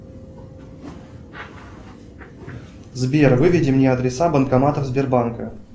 сбер выведи мне адреса банкоматов сбербанка